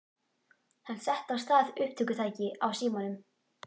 Hann setti á stað upptökutæki á símanum.